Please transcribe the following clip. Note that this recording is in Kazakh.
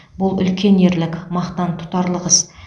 бұл үлкен ерлік мақтан тұтарлық іс